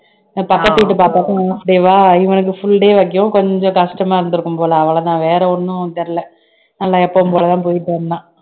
பக்கத்து வீட்டு பாப்பாவுக்கும் half day வா இவனுக்கு full day வைக்கவும் கொஞ்சம் கஷ்டமா இருந்திருக்கும் போல அவ்வளவுதான் வேற ஒண்ணும் தெரியலே நல்லா எப்பவும் போலதான் போயிட்டு வந்தான்